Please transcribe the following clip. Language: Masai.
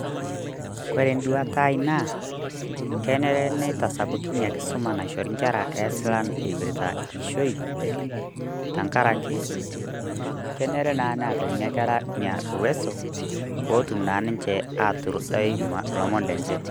kore duatai naa kenere neitasapuki nia nkisuma naishori nkerra esilan eipirta ishoi. Tanga'araki kenere naa neeta nkerra enia uweso pootum naa ninchee aiturudai lomoon lenchee.